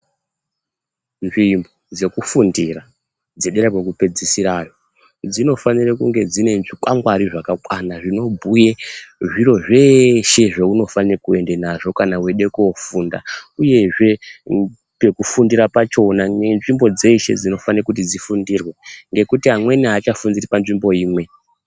Nzvimbo dzekufundira dzedera kwekupedzisira yo dzinofanira kunga dzine zvikwangwari zvakakwana zvinobhuye zviro zveeshe zvaunofanira kuenda nazvo kana weida ko ofunda veinda. Uyezve pekufundira pachona nenzvimbo nenzvimbo dzeshe dzinofanira kuti dzifundirwe nekuti amweni amweni aachafundiri panzvimbo